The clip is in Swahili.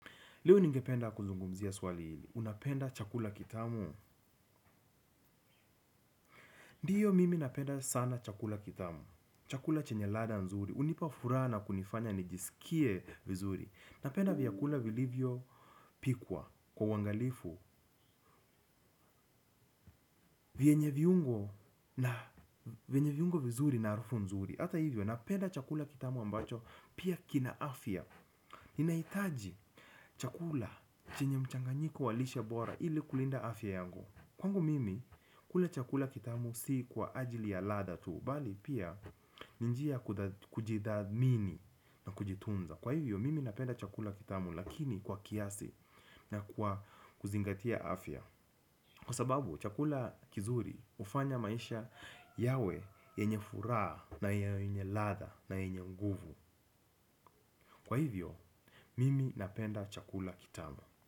Leo ningependa kuzungumzia swali hili. Unapenda chakula kitamu. Ndiyo mimi napenda sana chakula kitamu. Chakula chenye ladha nzuri. Hunipa furaha na kunifanya nijiskie vizuri. Napenda vyakula vilivyopikwa kwa huangalifu. Vyenye viungo na vyenye viungo vizuri na harufu nzuri. Hata hivyo, napenda chakula kitamu ambacho pia kina afya. Naitaji chakula chenye mchanganyiko wa lishe bora ili kulinda afya yangu. Kwangu mimi kula chakula kitamu si kwa ajili ya ladha tu, bali pia ni njia kujidathmini na kujitunza. Kwa hivyo mimi napenda chakula kitamu lakini kwa kiasi na kwa kuzingatia afya. Kwa sababu chakula kizuri ufanya maisha yawe yenye furaa na yenye ladha na yenye nguvu. Kwa hivyo mimi napenda chakula kitamu.